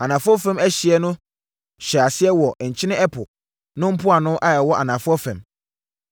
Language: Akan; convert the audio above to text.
Anafoɔ fam ɛhyeɛ no hyɛɛ aseɛ wɔ Nkyene Ɛpo no mpoano a ɛwɔ anafoɔ fam,